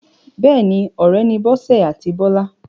Bẹ́ẹ̀ni, ọ̀rẹ́ ni Bọ́sẹ̀ àti Bọ́lá.